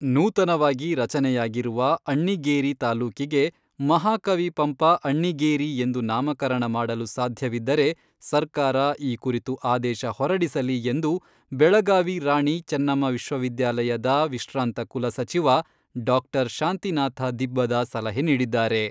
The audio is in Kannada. ನೂತನವಾಗಿ ರಚನೆಯಾಗಿರುವ ಅಣ್ಣಿಗೇರಿ ತಾಲೂಕಿಗೆ, "ಮಹಾಕವಿ ಪಂಪ ಅಣ್ಣಿಗೇರಿ" ಎಂದು ನಾಮಕರಣ ಮಾಡಲು ಸಾಧ್ಯವಿದ್ದರೆ ಸರ್ಕಾರ ಈ ಕುರಿತು ಆದೇಶ ಹೊರಡಿಸಲಿ ಎಂದು ಬೆಳಗಾವಿ ರಾಣಿ ಚನ್ನಮ್ಮ ವಿಶ್ವ ವಿದ್ಯಾಲಯದ ವಿಶ್ರಾಂತ ಕುಲಸಚಿವ ಡಾಕ್ಟರ್ ಶಾಂತಿನಾಥ ದಿಬ್ಬದ ಸಲಹೆ ನೀಡಿದ್ದಾರೆ.